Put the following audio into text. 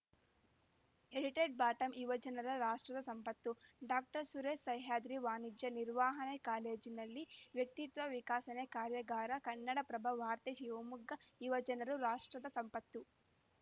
edited bottom ಯುವಜನರು ರಾಷ್ಟ್ರದ ಸಂಪತ್ತು ಡಾಕ್ಟರ್ ಸುರೇಶ ಸಹ್ಯಾದ್ರಿ ವಾಣಿಜ್ಯ ನಿರ್ವಹಣಾ ಕಾಲೇಜಿನಲ್ಲಿ ವ್ಯಕ್ತಿತ್ವ ವಿಕಸನ ಕಾರ್ಯಾಗಾರ ಕನ್ನಡಪ್ರಭ ವಾರ್ತೆ ಶಿವಮೊಗ್ಗ ಯುವಜನರು ರಾಷ್ಟ್ರದ ಸಂಪತ್ತು